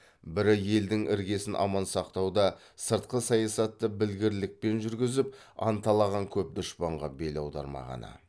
бірі елдің іргесін аман сақтауда сыртқы саясатты білгірлікпен жүргізіп анталаған көп дұшпанға бел аудырмағаны